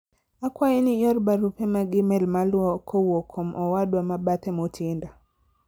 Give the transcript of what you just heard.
akwayi ni ior barupe mag email maluwo kowuok kuom owadwa mabathe Mutinda